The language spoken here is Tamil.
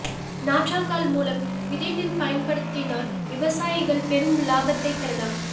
நாற்றங்கால் மூலம் விதைநெல் பயன்படுத்தினால் விவசாயிகள் பெரும் லாபத்தை பெறலாம்